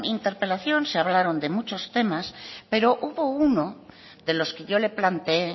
interpelación se hablaron de muchos temas pero hubo uno de los que yo le planteé